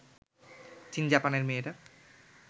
চিন জাপানের মেয়েরা